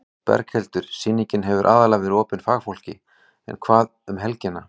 Berghildur: Sýningin hefur aðallega verið opin fagfólki en hvað um helgina?